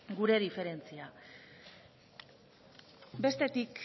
gure diferentzia bestetik